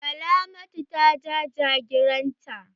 Salamatu ta ja jagiran ta.